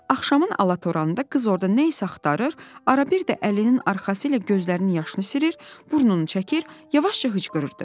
Axşamın alatoranında qız orada nə isə axtarır, arada bir də əlinin arxası ilə gözlərinin yaşını silir, burnunu çəkir, yavaşca hıçqırırdı.